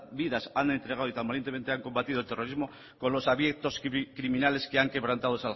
vidas han entregados y tan valientemente han combatido el terrorismo con los hambrientos criminales que han quebrantado